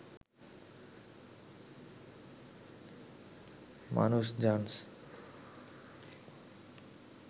মানুষ জানস